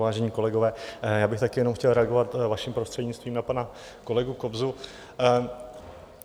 Vážení kolegové, já bych také jenom chtěl reagovat vaším prostřednictvím na pana kolegu Kobzu.